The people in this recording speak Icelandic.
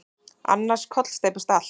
Annars kollsteypist allt.